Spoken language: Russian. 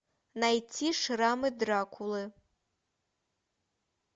найти шрамы дракулы